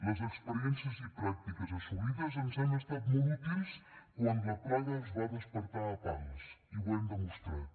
les experiències i pràctiques assolides ens han estat molt útils quan la plaga es va despertar a pals i ho hem demostrat